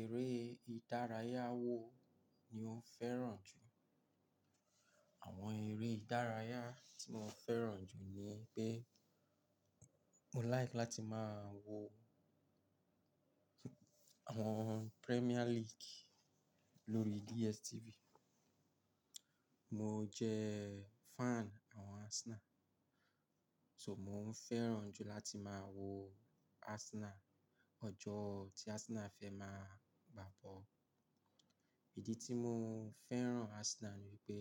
Eré ìdárayá wo ni o fẹ́ràn jù? Àwọn eré ìdárayá tí mo fẹ́ràn jù ni pé mo like láti máa wo àwọn Premier League lórí DSTV. Mo jẹ fan àwọn Arsenal, so mo ń fẹ́ràn jù láti máa wo Arsenal ọjọ́ tí Arsenal fẹ́ máa gbá bọ́ọ̀lù. Ìdí tí mo fẹ́ràn Arsenal ni pé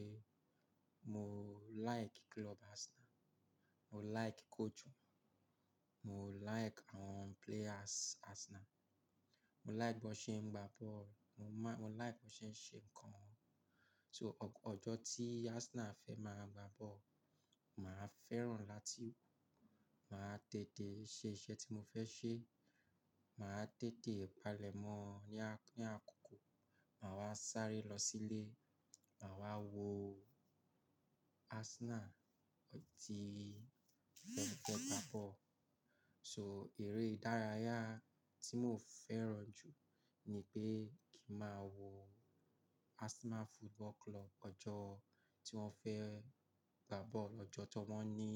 mo like club Arsenal, mo like coach wọn, mo like àwọn players Arsenal, mo like bí wọ́n ṣe ń gbá bọ́ọ̀lù, mo má-- mo like bí wọ́n ṣe ń ṣe nǹkan wọn. So ọ̀jọ̀ tí Arsenal fẹ́ máa gbá bọ́ọ̀lù, màá fẹ́ràn láti máa tètè ṣe iṣẹ́ tí mo fẹ́ ṣe, màá tètè pale mọ ní àk-- ní àkókò, màá wá sáré lọ sílé, màá wá wo Arsenal tí wọ́n fẹ́ gbá bọ́ọ̀lù. So eré ìdárayá tí mo fẹ́ràn jù ni pé kí n máa wo Arsenal Football Club ọjọ́ tí wọ́n fẹ́ gbá bọ́ọ̀lù, ọjọ́ tí wọ́n ní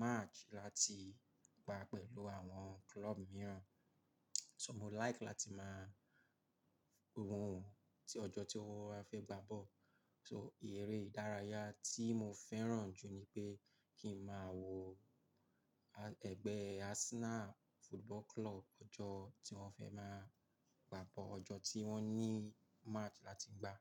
match láti gbá pẹ̀lú àwọn club mìíràn. So mo like láti máa rí ohun tí ọjọ́ tí wọ́n fẹ́ gbá bọ́ọ̀lù. So eré ìdárayá tí mo fẹ́ràn jù ni pé kí n máa wo, a, ẹgbẹ́ Arsenal Football Club ọjọ́ tí wọ́n fẹ́ máa gbá bọ́ọ̀lù, ọjọ́ tí wọ́n ní match láti gbá.